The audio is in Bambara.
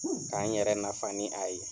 K'an yɛrɛ nafa ni a ye.